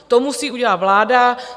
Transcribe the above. To musí udělat vláda.